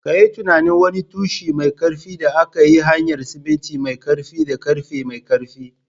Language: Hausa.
Ka yi tunanin wani tushe mai ƙarfi da aka yi ta hanyar siminti mai ƙarfi da ƙarfe mai ƙarfi